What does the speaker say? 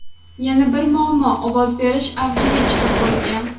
Yana bir muammo ovoz berish avjiga chiqib bo‘lgan.